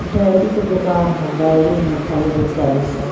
diary के दुकान हअ डायरी एमें खाली बेचला इ सब --